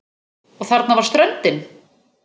Og þarna var ströndin!